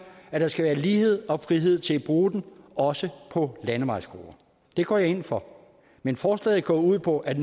at der skal være lighed og frihed til at bruge den også på landevejskroer det går jeg ind for men forslaget går ud på at